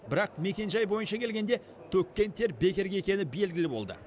бірақ мекенжай бойынша келгенде төккен тер бекерге екені белгілі болды